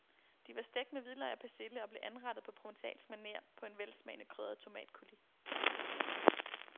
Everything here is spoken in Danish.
De var stegt med hvidløg og persille og blev anrettet på provencalsk maner på en velsmagende krydret tomatcoulis.